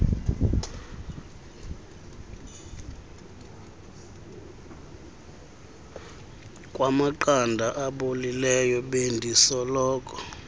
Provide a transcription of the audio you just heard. kwamaqanda abolileyo bendisoloko